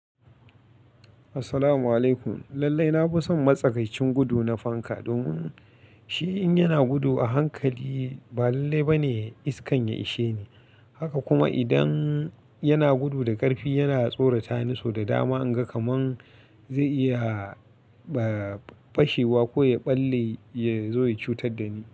Assalamu alaikum. Lallai na fi son matsakaicin gudu na fanka domin shi in yana gudu a hankali ba lallai ba ne iskan ya ishe ni. Haka kuma idan yana gudu da ƙarfi, yana tsorata ni, so da dama in ga kaman zai iya, ah, fashewa ko ya ɓalle ya zo ya cutar da ni.